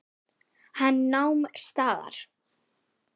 Hann nam staðar.